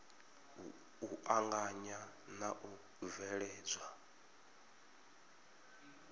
u anganya na u bveledzwa